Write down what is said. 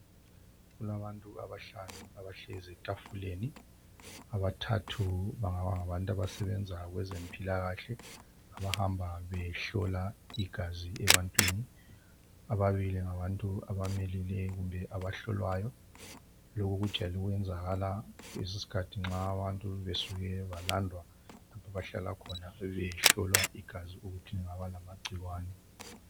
Kulabantu abahlanu abahlezi etafuleni abathathu bangaba ngabantu a asebenza kwezempila kahle abahamba behlola igazi ebantwini ababili ngabantu abamelelekumbe abahlolwayo lokho kujayele ukwenzakala leso sikhathi nxa abantu balandwa lapho abahlalakhona behlolwa igazi ukuthi lingaba lamangcikwane